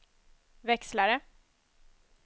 växlare